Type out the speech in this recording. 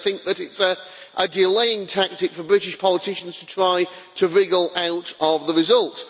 They think that it is a delaying tactic for British politicians to try to wriggle out of the result.